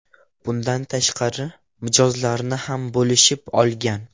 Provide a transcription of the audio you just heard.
Bundan tashqari, mijozlarni ham bo‘lishib olgan.